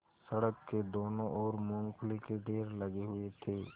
सड़क की दोनों ओर मूँगफली के ढेर लगे हुए थे